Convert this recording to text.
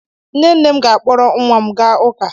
Nne nne m ga-akpọrọ nwa m gaa ụka.